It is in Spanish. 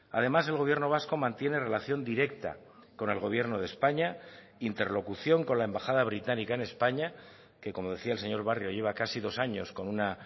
además el gobierno vasco mantiene relación directa con el gobierno de españa interlocución con la embajada británica en españa que como decía el señor barrio lleva casi dos años con una